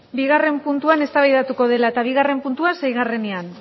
bigarren puntuan eztabaidatuko dela eta bigarren puntua seigarrenean